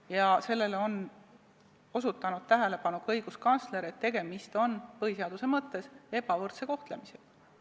Ka õiguskantsler on juhtinud tähelepanu sellele, et tegemist on põhiseaduse mõttes ebavõrdse kohtlemisega.